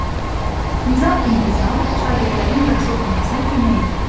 Nizam-intizam şagirdlərin yaxşı oxumasına kömək edir.